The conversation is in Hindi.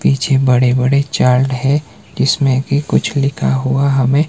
पीछे बड़े बड़े चार्ट है जिसमें की कुछ लिखा हुआ हमे--